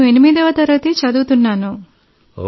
నేను 8 వ తరగతి చదువుతున్నాను